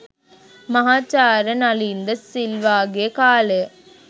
මහාචාර්ය නලින් ද සිල්වා ගේ කාලය